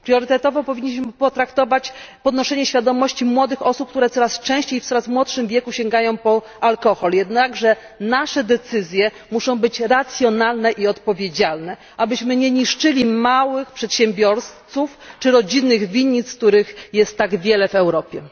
Priorytetowo powinniśmy potraktować podnoszenie świadomości młodych osób, które coraz częściej, w coraz młodszym wieku sięgają po alkohol. Jednakże nasze decyzje muszą być racjonalne i odpowiedzialne, abyśmy nie niszczyli małych przedsiębiorców czy rodzinnych winnic, których jest tak wiele w Europie.